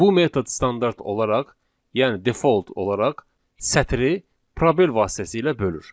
Bu metod standart olaraq, yəni default olaraq sətri probel vasitəsilə bölür.